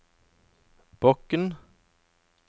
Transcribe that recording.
Bokn